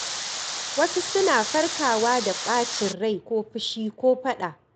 Wasu suna farkawa da ɓacin rai ko fushi ko faɗa.